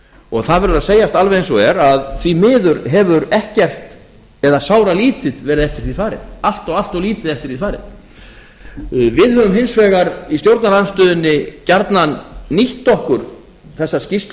og það verður að segjast alveg eins og er að því miður hefur ekkert eða sáralítið verið eftir því farið allt of allt of lítið eftir því farið við höfum hins vegar í stjórnarandstöðunni gjarnan nýtt okkur þessa skýrslu